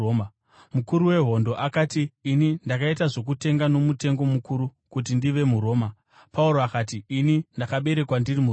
Mukuru wehondo akati, “Ini ndakaita zvokutenga nomutengo mukuru kuti ndive muRoma.” Pauro akati, “Ini ndakaberekwa ndiri muRoma.”